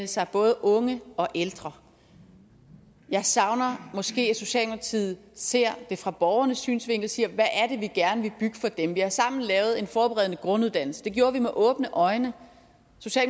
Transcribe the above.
sig både unge og ældre jeg savner måske at socialdemokratiets ser det fra borgernes synsvinkel og siger hvad er det vi gerne vil bygge for dem vi har sammen lavet en forberedende grunduddannelse det gjorde vi med åbne øjne